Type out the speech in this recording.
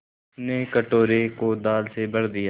उसने कटोरे को दाल से भर दिया